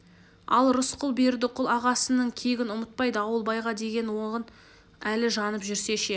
ал рысқұл бердіқұл ағасының кегін ұмытпай дауылбайға деген оғын әлі жанып жүрсе ше